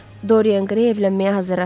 Dorien Qrey evlənməyə hazırlaşır.